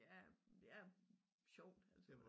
Ja det er sjovt altså